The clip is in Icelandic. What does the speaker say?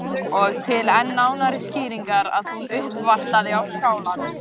Og til enn nánari skýringar að hún uppvartaði á Skálanum.